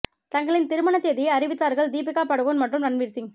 தங்களின் திருமண தேதியை அறிவித்தார்கள் தீபிகா படுகோன் மற்றும் ரன்வீர் சிங்